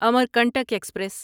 Amarkantak express